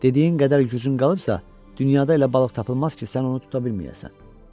Dediyin qədər gücün qalıbsa, dünyada elə balıq tapılmaz ki, sən onu tuta bilməyəsən.